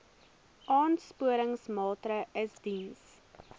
aansporingsmaatre ls diens